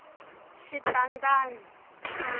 xitandani